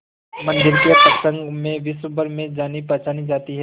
मंदिर के प्रसंग में विश्वभर में जानीपहचानी जाती है